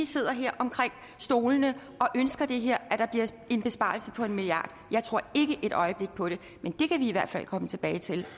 sidder her på stolene og ønsker det her at der bliver en besparelse på en milliard jeg tror ikke et øjeblik på det men det kan vi i hvert fald komme tilbage til